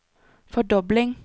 fordobling